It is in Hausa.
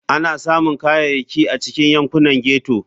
Ana samun Kayayyaki a cikin yankunan ghetto.